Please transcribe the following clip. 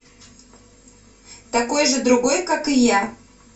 такой же другой как и я